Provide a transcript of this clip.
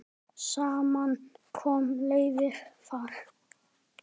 Saman koma leiðir þar.